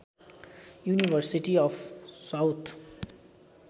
university of south